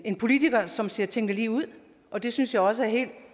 en politiker som siger tingene lige ud og det synes jeg også er helt